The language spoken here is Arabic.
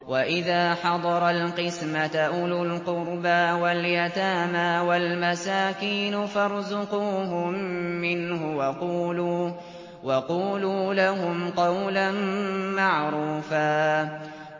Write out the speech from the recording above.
وَإِذَا حَضَرَ الْقِسْمَةَ أُولُو الْقُرْبَىٰ وَالْيَتَامَىٰ وَالْمَسَاكِينُ فَارْزُقُوهُم مِّنْهُ وَقُولُوا لَهُمْ قَوْلًا مَّعْرُوفًا